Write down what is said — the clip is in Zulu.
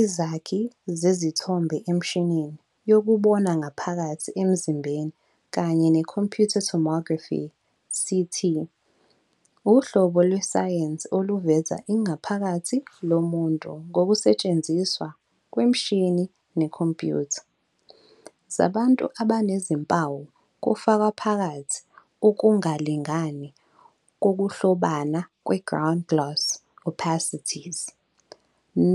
Izakhi zezithombe emishinini yokubona ngaphakathi emzimbeni kanye ne-computed tomography, CT, uhlobo lwesayensi oluveza ingaphakathi lomuntu ngokusetshenziswa kwemishini nekhompuyutha, zabantu abanezimpawu kufaka phakathi ukungalingani kokuhlobana kwe-ground glass opacities,